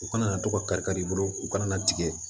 U kana na to ka kari kari i bolo u kana na tigɛ